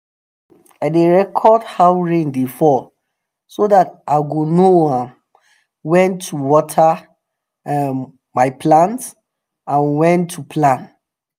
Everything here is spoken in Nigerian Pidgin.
i dey record how rain dey fall so dat i go know um wen to water um my plants and wen to plant